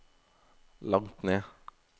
langt ned